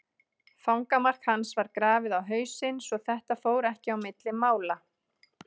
Fangamark hans var grafið á hausinn svo þetta fór ekki á milli mála.